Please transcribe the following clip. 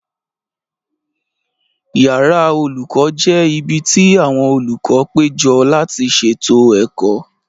Yàrá olùkọ́ jẹ́ ibi tí àwọn olùkọ́ péjọ láti ṣètò ẹ̀kọ́